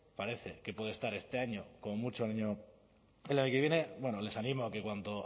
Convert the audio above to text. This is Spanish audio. parece que puede estar este año como mucho el año que viene bueno les animo a que cuanto